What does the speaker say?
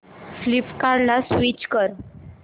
फ्लिपकार्टं ला स्विच कर